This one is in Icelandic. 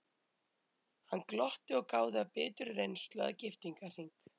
Hann glotti og gáði af biturri reynslu að giftingarhring.